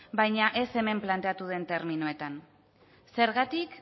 baina ez hemen planteatu den terminoetan zergatik